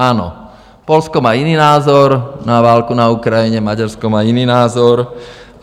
Ano, Polsko má jiný názor na válku na Ukrajině, Maďarsko má jiný názor.